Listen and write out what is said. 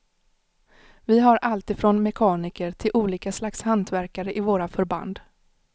Vi har alltifrån mekaniker till olika slags hantverkare i våra förband.